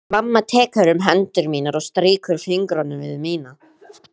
Mamma tekur um hendur mínar og strýkur fingrunum við mína.